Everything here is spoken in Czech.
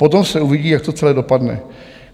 Potom se uvidí, jak to celé dopadne.